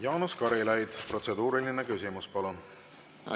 Jaanus Karilaid, protseduuriline küsimus, palun!